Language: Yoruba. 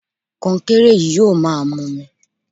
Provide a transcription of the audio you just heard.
Kọnkéré yìí yóò máa mumi